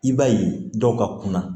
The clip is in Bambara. I b'a ye dɔw ka kunna